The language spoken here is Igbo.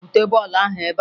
Bute bọọlụ ahụ ebea!